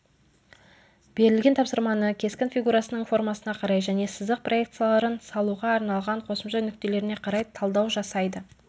берілген тапсырманы кескін фигурасының формасына қарай және сызық проекцияларын салуға арналған қосымша нүктелеріне қарай талдау жасайды